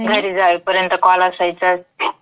घरी जाऊ पर्यंत. है ना? हाओ.